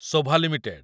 Shobha limited